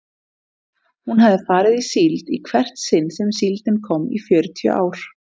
Hún hafði farið í síld í hvert sinn sem síldin kom í fjörutíu ár.